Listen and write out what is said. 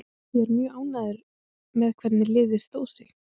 Ég er mjög ánægður með hvernig liðið stóð sig.